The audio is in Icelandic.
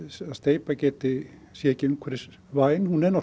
steypa sé ekki umhverfisvæn hún er